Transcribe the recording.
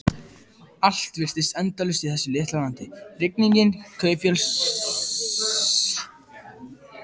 Allt virtist endalaust í þessu litla landi: rigningin, kaupfélagssjoppurnar, fólksfæðin.